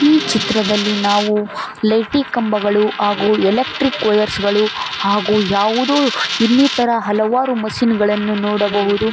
ಈ ಚಿತ್ರದಲ್ಲಿ ನಾವು ಲೇಟಿ ಕಂಬಗಳು ಹಾಗು ಎಲೆಕ್ಟ್ರಿಕ್ ವಯರ್ಸ್ ಗಳು ಹಾಗು ಯಾವುದೋ ಇನ್ನಿತರ ಹಲವಾರು ಮಷೀನ್ ಗಳನ್ನು--